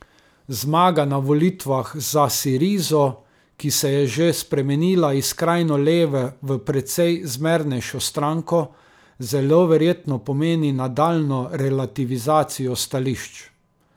Zmaga na volitvah za Sirizo, ki se je že spremenila iz skrajno leve v precej zmernejšo stranko, zelo verjetno pomeni nadaljnjo relativizacijo stališč.